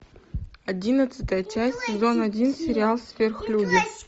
одиннадцатая часть сезон один сериал сверхлюди